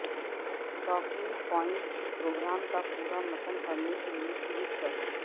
talking point programme کا پورا متن پڑھنے کے لیئے کلک کریں